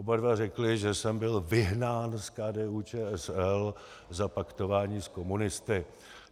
Oba dva řekli, že jsem byl vyhnán z KDU-ČSL za paktování s komunisty.